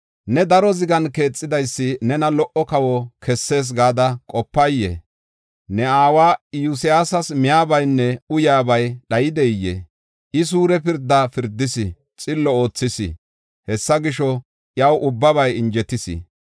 Ne daro zigan keexidaysi nena lo77o kawo kessees gada qopay? Ne aawa Iyosyaasas miyabaynne uyaabay dhayidee? I suure pirda pirdis; xillo oothis. Hessa gisho, iyaw ubbabay injetis.